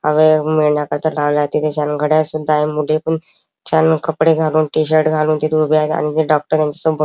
हवे मिळण्याकरिता लावलाय तिथे छान घडयाळ सुद्धा आहे मोठी छान कपडे घालून टि-शर्ट घालून तिथे उभे आहे आणि ते डॉक्टरां शी संपर्क--